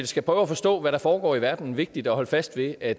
skal prøve at forstå hvad der foregår i verden vigtigt at holde fast ved at